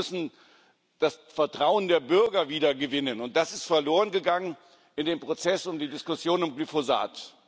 Wir müssen das Vertrauen der Bürger wieder gewinnen, und das ist verlorengegangen in dem Prozess um die Diskussion um Glyphosat.